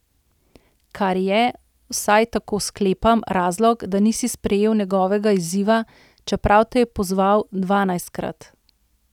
Kar je, vsaj tako sklepam, razlog, da nisi sprejel njegovega izziva, čeprav te je pozval dvanajstkrat.